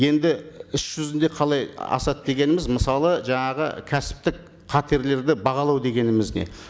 енді іс жүзінде қалай асады дегеніміз мысалы жаңағы кәсіптік қатерлерді бағалау дегеніміз не